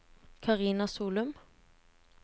Karina Solum